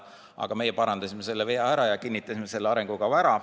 Aga me parandasime selle vea ja kinnitasime selle arengukava ära.